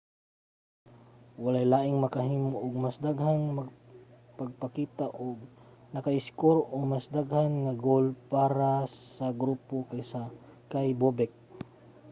walay laing nakahimo og mas daghang pagpakita o naka-iskor og mas daghan nga goal para sa grupo kaysa kay bobek